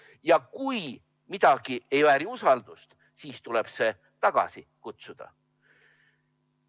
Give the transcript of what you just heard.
Ja kui midagi ei vääri usaldust, siis tuleb see tagasi kutsuda.